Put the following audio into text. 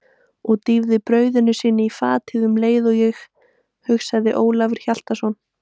Og dýfir brauði sínu í fatið um leið og ég, hugsaði Ólafur Hjaltason.